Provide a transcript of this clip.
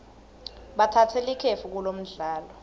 batsatse likefu kulomdlalo